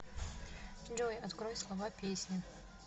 джой открой слова песни